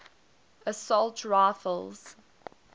assault rifles